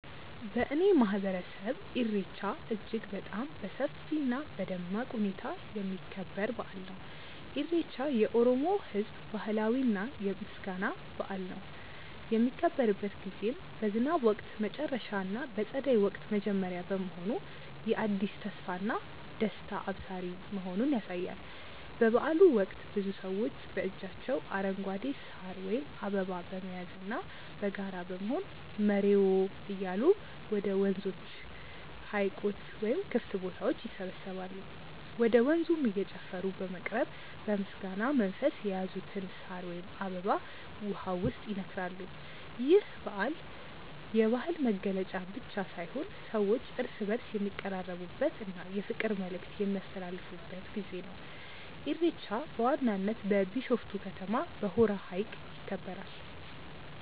በእኔ ማህበረሰብ ኢሬቻ እጅግ በጣም በሰፊ እና በደማቅ ሁኔታ የሚከበር በአል ነው። ኢሬቻ የኦሮሞ ህዝብ ባህላዊ የምስጋና በአል ነው። የሚከበርበት ጊዜም በዝናብ ወቅት መጨረሻ እና በፀደይ ወቅት መጀመሪያ መሆኑ የአዲስ ተስፋና ደስታ አብሳሪ መሆኑን ያሳያል። በበአሉ ወቅት ብዙ ሰዎች በእጃቸው አረንጓዴ ሳር ወይም አበባ በመያዝና በጋራ በመሆን "መሬዎ" እያሉ ወደ ወንዞች፣ ሀይቆች ወይም ክፍት ቦታዎች ይሰባሰባሉ። ወደ ወንዙም እየጨፈሩ በመቅረብ በምስጋና መንፈስ የያዙትን ሳር ወይም አበባ ውሃው ውስጥ ይነክራሉ። ይህ በዓል የባህል መገለጫ ብቻ ሳይሆን ሰዎች እርስ በእርስ የሚቀራረቡበት እና የፍቅር መልዕክት የሚያስተላልፉበት ጊዜ ነው። ኢሬቻ በዋናነት በቢሾፍቱ ከተማ በሆራ ሀይቅ ይከበራል።